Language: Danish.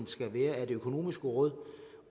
skal være af det økonomiske råd